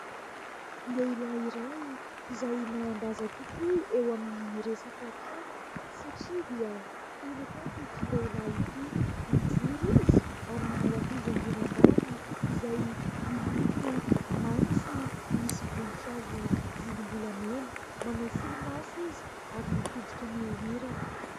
Lehilahy iray izay manan-daza tokoa eo amin'ny resaka kanto satria dia mpanakanto ity lehilahy ity. Mijoro izy ary manao akanjo ambony ambany izay miloko maitso misy voninkazo volombolamena, manao solomaso izy ary mitodika mihorirana.